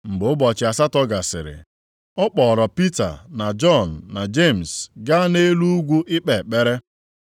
Mgbe ụbọchị asatọ gasịrị, ọ kpọọrọ Pita na Jọn na Jemis gaa nʼelu ugwu ikpe ekpere.